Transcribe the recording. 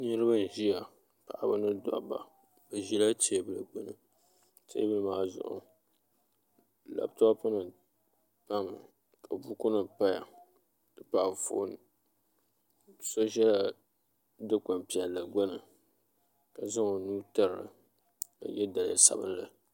Niraba n ʒiya paɣaba mini dabba bi ʒila teebili gbuni teebuli maa zuɣu labtop nim pami ka buku nim paya n ti pahi anfooni so ʒɛla dikpuni piɛlki gbuni ka zaŋ o nuu tirili ka yɛ daliya sabinli